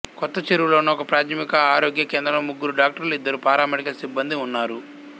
కొత్తచెరువులో ఉన్న ఒకప్రాథమిక ఆరోగ్య కేంద్రంలో ముగ్గురు డాక్టర్లు ఇద్దరు పారామెడికల్ సిబ్బందీ ఉన్నారు